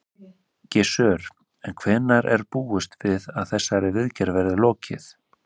Gissur: En hvenær er búist við að þessari viðgerð verði lokið?